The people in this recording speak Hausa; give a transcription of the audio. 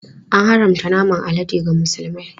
An haramta naman alade ga Musulmai.